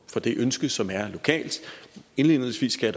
for det ønske som er lokalt indledningsvis skal